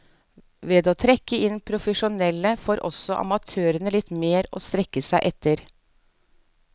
Ved å trekke inn profesjonelle får også amatørene litt mer å strekke seg etter.